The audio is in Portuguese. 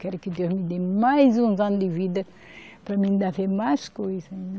Quero que Deus me dê mais uns anos de vida para mim ainda ver mais coisas.